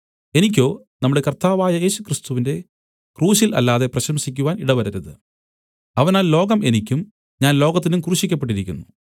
എനിക്കോ നമ്മുടെ കർത്താവായ യേശുക്രിസ്തുവിന്റെ ക്രൂശിൽ അല്ലാതെ പ്രശംസിക്കുവാൻ ഇടവരരുത് അവനാൽ ലോകം എനിക്കും ഞാൻ ലോകത്തിനും ക്രൂശിക്കപ്പെട്ടിരിക്കുന്നു